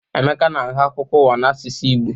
Emeka na-agụ akụkọ ụwa n'asụsụ Igbo.